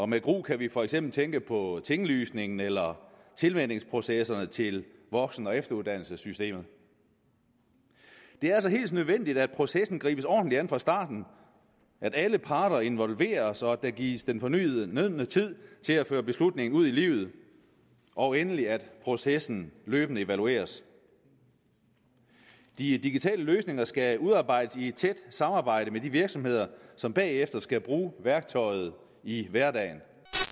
med gru kan vi for eksempel tænke på tinglysningen eller tilvænningsprocesserne til voksen og efteruddannelsessystemet det er altså helt nødvendigt at processen gribes ordentligt an fra starten at alle parter involveres og at der gives den fornødne tid til at føre beslutningen ud i livet og endelig at processen løbende evalueres de digitale løsninger skal udarbejdes i et tæt samarbejde med de virksomheder som bagefter skal bruge værktøjet i hverdagen